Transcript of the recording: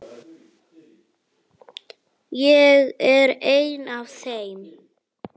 Ég er ein af þeim.